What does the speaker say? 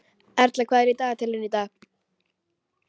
Erla, hvað er í dagatalinu í dag?